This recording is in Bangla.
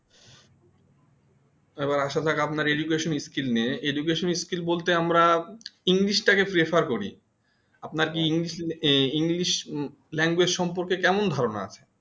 এ বার আসা আছে আপনার education skills নিয়ে education skills বলতে আমরা english টাকে prefer করি আপনার কি english language সম্পর্ক কেমন ধারণা আছে